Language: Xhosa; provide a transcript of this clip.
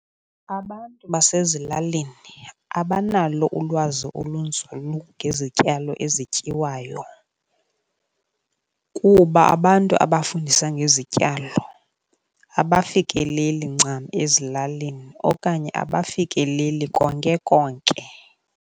Abantu basezilalini abanalo ulwazi olunzulu ngezityalo ezityiwayo kuba abantu abafundisa ngezityalo abafikeleli ncam ezilalini okanye abafikeleli konke konke.